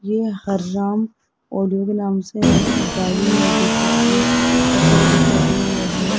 ये हरे राम ऑडियो के नाम से गाड़ी है डी_जे की बहोत सारे डी_जे लगे हुए हैं।